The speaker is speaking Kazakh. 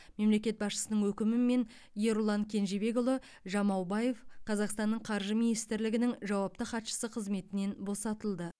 мемлекет басшысының өкімімен ерұлан кенжебекұлы жамаубаев қазақстанның қаржы министрлігінің жауапты хатшысы қызметінен босатылды